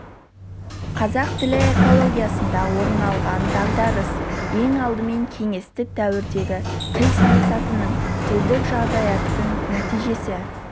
қазақ тілі экологиясында орын алған дағдарыс ең алдымен кеңестік дәуірдегі тіл саясатының тілдік жағдаяттың нәтижесі